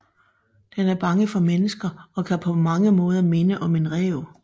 Den er bange for mennesker og kan på mange måder minde om en ræv